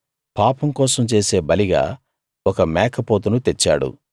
పాపం కోసం చేసే బలిగా ఒక మేకపోతును తెచ్చాడు